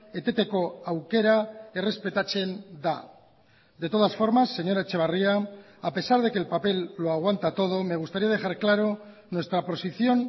eteteko aukera errespetatzen da de todas formas señora etxebarria a pesar de que el papel lo aguanta todo me gustaría dejar claro nuestra posición